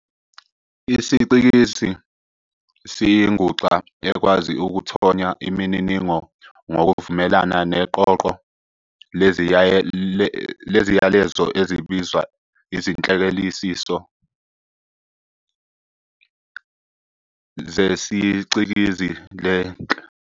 IsiCikizi siyinguxa ekwazi ukuthonya imininingo ngokuvumelana neqoqo leziyalezo ezibizwa izinhleleliso zesicikizi Lenhleleliso inisimo esigunundekayo esingasetshenziswa isiCikizi ngokuqondile ukuze sigununde iziyalezo.